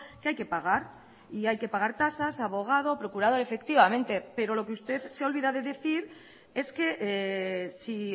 que hay que pagar y hay que pagar tasas abogado procurador efectivamente pero lo que usted se olvida de decir es que si